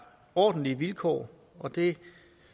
ordentlige vilkår og det